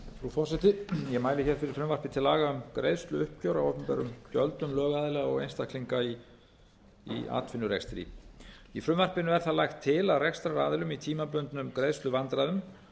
forseti ég mæli hér fyrir frumvarpi til laga um greiðsluuppgjör á opinberum gjöldum lögaðila og einstaklinga í atvinnurekstri í frumvarpinu er það lagt til að rekstraraðilum í tímabundnum greiðsluvandræðum